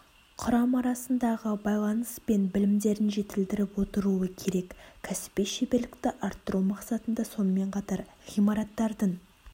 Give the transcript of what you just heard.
құрам арасындағы байланыс пен білімдерін жетілдіріп отыруы керек кәсіби шеберлікті арттыру мақсатында сонымен қатар ғимарттардың